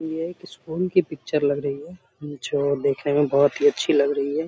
ये एक स्कूल की पिक्चर लग रही है जो देखने में बहुत ही अच्छी लग रही है।